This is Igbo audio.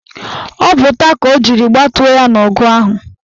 Ọ bụ ụta ka ọ jiri gbatuo ya n' ọgụ ahụ.